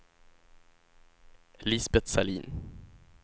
Lisbeth Sahlin